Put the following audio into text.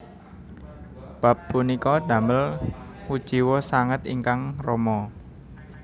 Bab punika damel kuciwa sanget ingkang rama